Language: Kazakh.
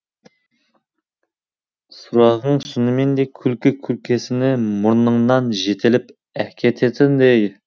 сұрағың шынымен де күлкі күркесіне мұрныңнан жетелеп әкететіндей